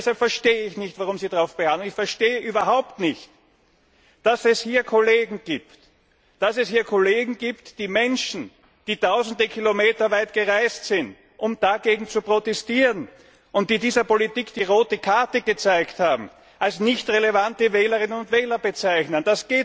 Und deshalb verstehe ich nicht, weshalb Sie darauf beharren. Und ich verstehe überhaupt nicht, dass es hier Kollegen gibt, die Menschen, die tausende Kilometer weit gereist sind, um dagegen zu protestieren und die dieser Politik die rote Karte gezeigt haben, als nicht relevante Wählerinnen und Wähler bezeichnen.